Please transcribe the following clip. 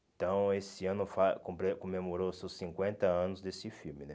Então, esse ano faz comple comemorou seus cinquenta anos desse filme, né?